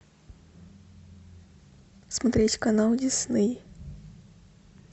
смотреть канал дисней